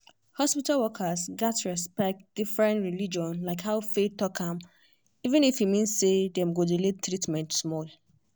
hospital workers gats respect different religion like how faith talk am even if e mean say dem go delay treatment small.